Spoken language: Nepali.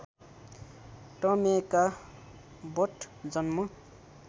टमेका बट जन्म